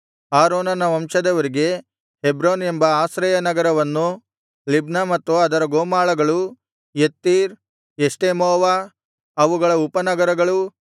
ಆರೋನನ ವಂಶದವರಿಗೆ ಹೆಬ್ರೋನ್ ಎಂಬ ಆಶ್ರಯ ನಗರವನ್ನು ಲಿಬ್ನ ಮತ್ತು ಅದರ ಗೋಮಾಳಗಳು ಯತ್ತೀರ್ ಎಷ್ಟೆಮೋವ ಅವುಗಳ ಉಪನಗರಗಳೂ